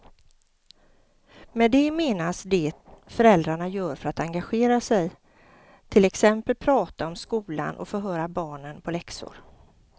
Med det menas det föräldrarna gör för att engagera sig, till exempel prata om skolan och förhöra barnen på läxor.